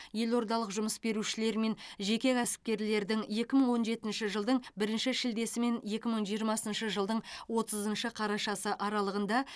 елордалық жұмыс берушілер мен жеке кәсіпкерлердің екі мың он жетінші жылдың бірінші шілдесі мен екі мың жиырмасыншы жылдың отызыншы қарашасы аралығында